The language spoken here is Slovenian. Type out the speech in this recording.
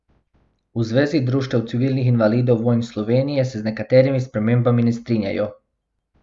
V Zvezi društev civilnih invalidov vojn Slovenije se z nekaterimi spremembami ne strinjajo.